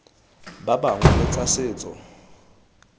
ba bangwe le tsa setso